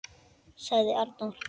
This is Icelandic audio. ., sagði Arnór.